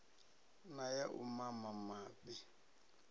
na ya u mama mafhi